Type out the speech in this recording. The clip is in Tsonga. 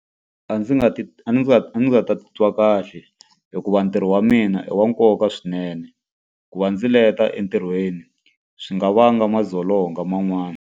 A ndzi nga a a nga ta titwa kahle hikuva ntirho wa mina i wa nkoka swinene. Ku va ndzi leta entirhweni swi nga vanga madzolonga man'wana.